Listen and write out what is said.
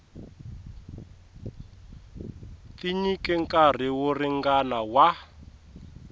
tinyike nkarhi wo ringana wa